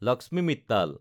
Lakshmi Mittal